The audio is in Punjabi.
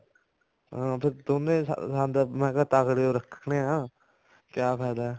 ਹਾਂ ਫ਼ੇਰ ਦੋਨੇ ਸੰਦ ਮੈਂ ਕਿਹਾ ਤਕੜੇ ਓ ਰੱਖਣੇ ਆ ਕਿਆ ਫਾਇਦਾ